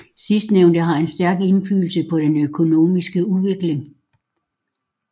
Sidstnævnte har en stærk indflydelse på den økonomiske udvikling